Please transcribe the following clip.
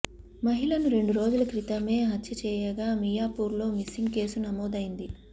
మహిళను రెండు రోజుల క్రితమే హత్య చేయగా మియాపూర్లో మిస్సింగ్ కేసు నమోదైంది